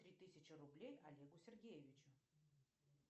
три тысячи рублей олегу сергеевичу